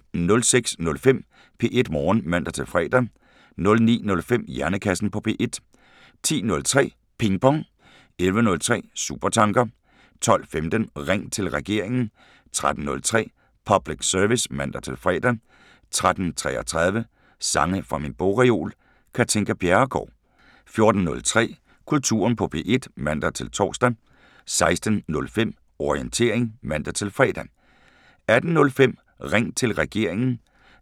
06:05: P1 Morgen (man-fre) 09:05: Hjernekassen på P1 10:03: Ping Pong 11:03: Supertanker 12:15: Ring til Regeringen 13:03: Public Service (man-fre) 13:33: Sange fra min bogreol – Katinka Bjerregaard 14:03: Kulturen på P1 (man-tor) 16:05: Orientering (man-fre) 18:05: Ring til Regeringen